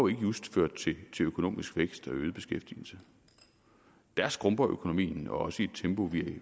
just ført til økonomisk vækst og øget beskæftigelse der skrumper økonomien også i et tempo